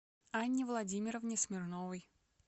анне владимировне смирновой